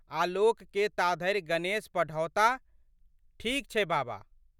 आलोकके ताधरि गणेश पढ़ौताह। ठीक छै बाबा!